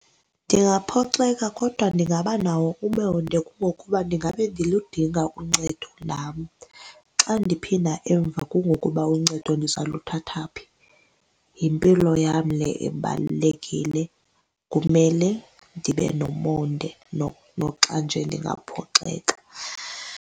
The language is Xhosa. Ndingaphoxeka kodwa ndingaba nawo umonde kungokuba ndingabe ndiludinga uncedo nam. Xa ndiphinda emva kungokuba uncedo ndiza luthatha phi? Yimpilo yam le ebalulekile kumele ndibe nomonde noxa nje ndingaphoxeka.